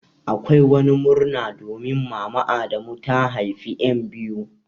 Akwai wani murna domin mama adamu da ta haifa en biyu.